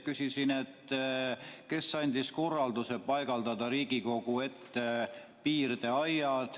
Küsisin, kes andis korralduse paigaldada Riigikogu ette piirdeaiad.